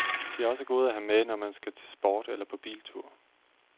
De er også gode at have med, når man skal til sport eller på biltur.